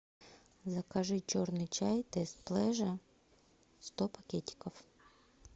закажи черный чай тесс плэжа сто пакетиков